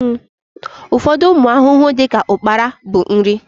Ụfọdụ ụmụ ahụhụ dịka ukpara bụ nri